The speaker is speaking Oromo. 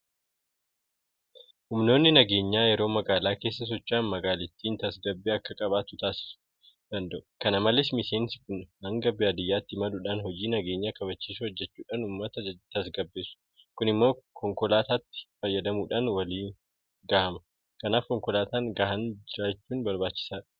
Humnoonni nageenyaa yeroo magaalaa keessa socho'an magaalittiin tasgabbii akka qabaattu taasisuu danda'u. Kana malees miseensi kun hanga baadiyyaatti imaluudhaan hojii nageenya kabachiisuu hojjechuudhaan uummata tasgabbeessu. Kun immoo konkolaataatti fayyadamuudhaan waliin gahama. Kanaaf konkolaataa gahaan jiraachuun barbaachisaadha.